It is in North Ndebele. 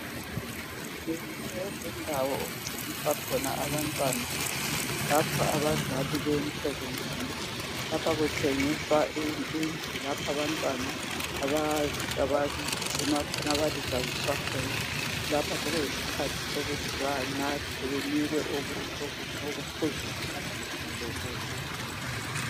Ngeyinye yezindawo okugciniswa khona abantwana lapho abazali beye emsebenzini lapho betshengisa indlu lapho abantwana abagcinwa khona belitshaziswa khona lapho sekuyisikhathi sokuthi baphiwe okuphuzwayo banikwe lokudla.